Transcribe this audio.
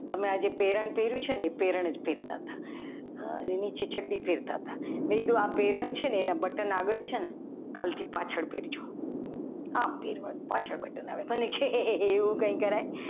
તમે જે આ પેરણ પહેર્યું છે ને એ પ્રેરણ જ પહેરતા હતા નીચે ચડ્ડી પહેરતા હતા. મેં કીધું આ પેરણ છે ને એના બટન આગળ છે ને કાલથી પાછળ કરજો આમ પહેરવાનું પાછળ બટન આવે એ કહે હે હે એવું કંઈ કરાય?